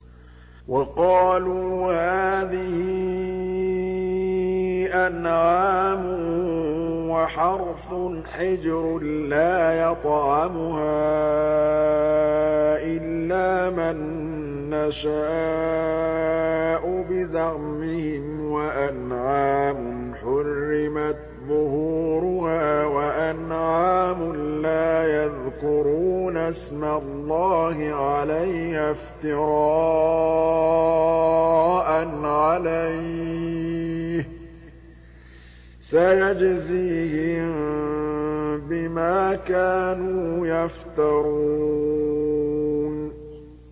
وَقَالُوا هَٰذِهِ أَنْعَامٌ وَحَرْثٌ حِجْرٌ لَّا يَطْعَمُهَا إِلَّا مَن نَّشَاءُ بِزَعْمِهِمْ وَأَنْعَامٌ حُرِّمَتْ ظُهُورُهَا وَأَنْعَامٌ لَّا يَذْكُرُونَ اسْمَ اللَّهِ عَلَيْهَا افْتِرَاءً عَلَيْهِ ۚ سَيَجْزِيهِم بِمَا كَانُوا يَفْتَرُونَ